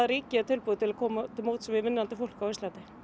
ríkið er tilbúið að koma til móts við vinnandi fólk á Íslandi